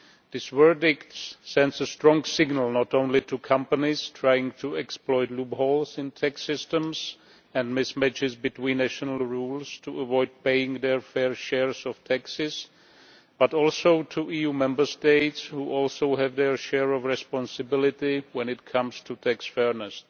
This verdict sends a strong signal not only to companies trying to exploit loopholes in tax systems and mismatches between national rules to avoid paying their fair share of taxes, but also to EU Member States, which also have their share of responsibility when it comes to tax fairness.